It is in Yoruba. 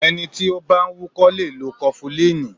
Ẹni tí ó bá ń wúkọ́ lè lo kọfulíìnì.